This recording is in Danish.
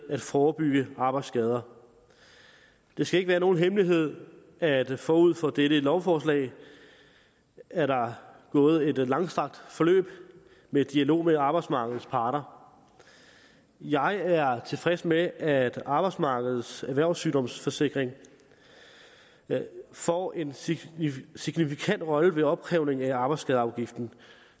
at forebygge arbejdsskader det skal ikke være nogen hemmelighed at forud for dette lovforslag er der gået et langstrakt forløb med dialog med arbejdsmarkedets parter jeg er tilfreds med at arbejdsmarkedets erhvervssygdomssikring får en signifikant rolle ved opkrævning af arbejdsskadeafgiften